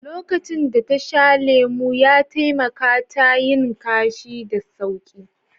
Lokacin da ta sha lemu, ya taimaka ta yin kashi da sauƙi